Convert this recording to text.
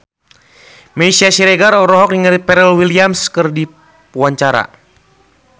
Meisya Siregar olohok ningali Pharrell Williams keur diwawancara